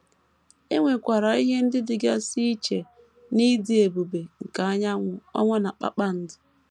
E nwekwara ihe ndị dịgasị iche n’ịdị ebube nke anyanwụ, ọnwa, na kpakpando.